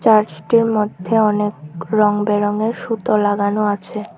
আকাশটির মধ্যে অনেক রং বেরঙের সুতো লাগানো আছে।